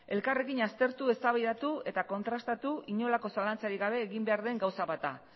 elkarrekin aztertu eztabaidatu eta kontrastatu inolako zalantzarik gabe egin behar den gauza bat da